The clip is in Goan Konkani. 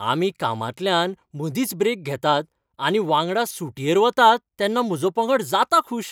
आमी कामांतल्यान मदींच ब्रेक घेतात आनी वांगडा सुटयेर वतात तेन्ना म्हजो पंगड जाता खूश.